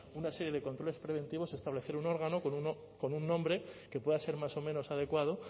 una serie de controles preventivos establecer un órgano con un nombre que pueda ser más o menos adecuado